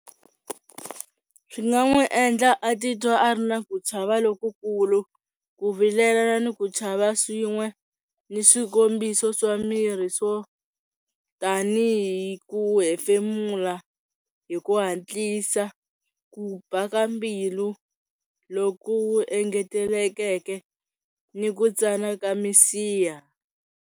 Swi nga n'wi endla a titwa a ri na ku chava lokukulu, ku vilela ni ku chava swin'we, ni swikombiso swa miri swo tani hi ku hefemula hi ku hatlisa, ku ba ka mbilu loku engetelekeke ni ku tsana ka misiha.